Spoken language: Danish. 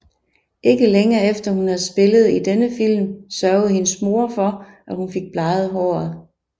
Ikke længe efter at hun havde spillet i denne film sørgede hendes mor for at hun fik bleget håret